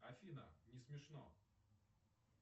афина не смешно